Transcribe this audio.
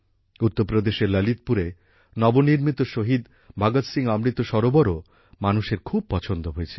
উত্তরপ্রদেশের ললিতপুরে নবনির্মিত শহীদ ভগত সিং অমৃত সরোবরও মানুষের খুব পছন্দ হয়েছে